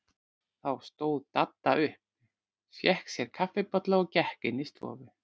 Þá stóð Dadda upp, fékk sér kaffibolla og gekk inn í stofu.